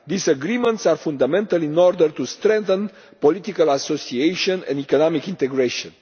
These agreements are fundamental in order to strengthen political association and economic integration.